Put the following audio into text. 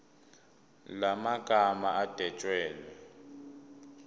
la magama adwetshelwe